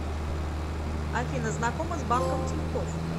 афина знакома с банком тинькофф